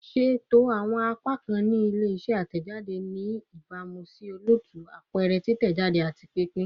Ṣeto awọn apakan ni ile-iṣẹ atẹjade ni ibamu si olootu, apẹrẹ, titẹjade, ati pinpin